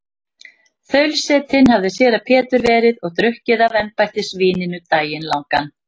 Þaulsetinn hafði séra Pétur verið og drukkið af embættisvíninu daginn langan.